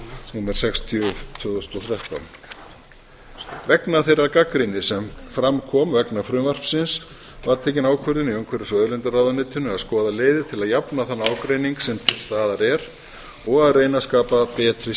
númer sextíu tvö þúsund og þrettán vegna þeirrar gagnrýni sem fram kom vegna frumvarpsins var tekin ákvörðun í umhverfis og auðlindaráðuneytinu að skoða leiðir til að jafna þann ágreining sem til staðar er og að reyna að skapa betri